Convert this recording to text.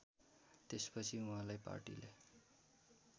त्यसपछि उहाँलाई पार्टीले